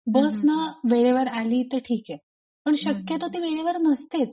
बस ना वेळेवर आली तर ठीके पण शक्यतो ती वेळेवर नसतेच.